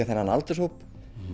þennan aldurshóp